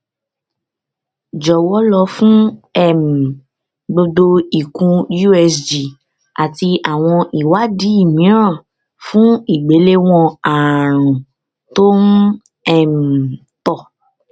jọwọ lọ fún um gbogbo ikùn usg àti àwọn ìwádìí mìíràn fún ìgbéléwọn àrùn tó um tọ